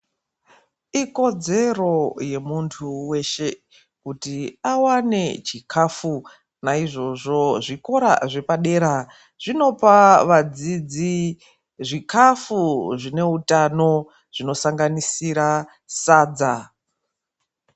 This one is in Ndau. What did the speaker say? Ikodzero yemuntu weshe kuti awane chikafu naizvozvo zvikora zvepadera zvinopa vadzidzi zvikafu zvine utano zvinosanganisira sadza.